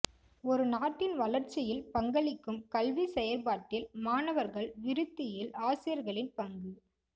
ஒரு நாட்டின் வளர்ச்சியில் பங்களிக்கும் கல்வி செயற்பாட்டில் மாணவர்கள் விருத்தியில் ஆசிரியர்களின் பங்கு